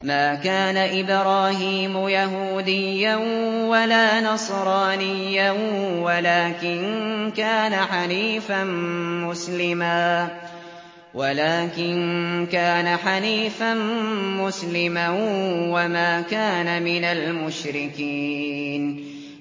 مَا كَانَ إِبْرَاهِيمُ يَهُودِيًّا وَلَا نَصْرَانِيًّا وَلَٰكِن كَانَ حَنِيفًا مُّسْلِمًا وَمَا كَانَ مِنَ الْمُشْرِكِينَ